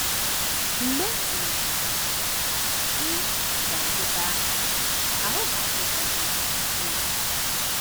Mgbe um ị ga - eteta, ahụ́ ga - adị gị um mma